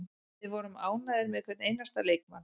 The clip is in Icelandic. Við vorum ánægðir með hvern einasta leikmann.